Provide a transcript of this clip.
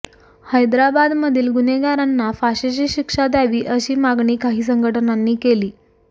हैदराबादमधील गुन्हेगारांना फाशीची शिक्षा द्यावी अशी मागणी काही संघटनांनी केली